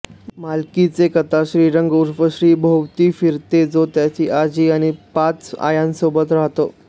मालिकेची कथा श्रीरंग उर्फ श्री भोवती फिरते जो त्याची आजी आणि पाच आयांसोबत राहतो